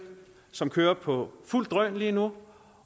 som kører på fuldt drøn lige nu